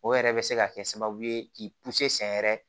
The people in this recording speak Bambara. O yɛrɛ bɛ se ka kɛ sababu ye k'i sɛnyɛrɛ